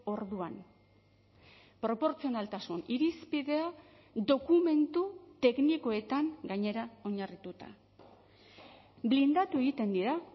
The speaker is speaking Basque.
orduan proportzionaltasun irizpidea dokumentu teknikoetan gainera oinarrituta blindatu egiten dira